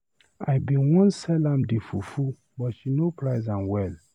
I bin wan sell am the fufu but she no price well.